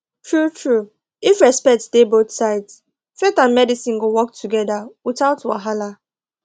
truetrue if respect dey both sides faith and medicine go work together without wahala